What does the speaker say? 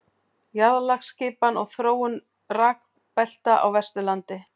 jarðlagaskipan og þróun rekbelta á vesturlandi